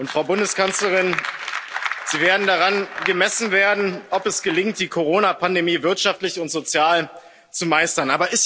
Frau Bundeskanzlerin, Sie werden daran gemessen werden, ob es gelingt, die Corona Pandemie wirtschaftlich und sozial zu meistern.